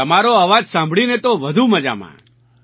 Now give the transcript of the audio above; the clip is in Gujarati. તમારો અવાજ સાંભળીને તો વધુ મજામાં